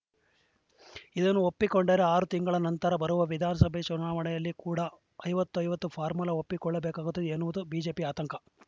ಇದನ್ನು ಒಪ್ಪಿಕೊಂಡರೆ ಆರು ತಿಂಗಳ ನಂತರ ಬರುವ ವಿಧಾನಸಭೆ ಚುನಾವಣೆಯಲ್ಲಿ ಕೂಡ ಐವತ್ತು ಐವತ್ತು ಫಾರ್ಮುಲಾ ಒಪ್ಪಿಕೊಳ್ಳಬೇಕಾಗುತ್ತದೆ ಎನ್ನುವುದು ಬಿಜೆಪಿ ಆತಂಕ